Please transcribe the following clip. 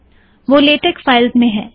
वह लेटेक फिल्स मैं है